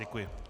Děkuji.